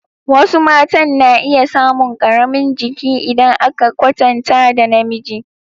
Wasu matan na iya samun ƙaramin jiki idan aka kwatanta da namiji.